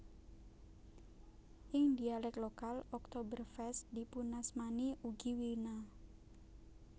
Ing dialek lokal Oktoberfest dipunasmani ugi Wina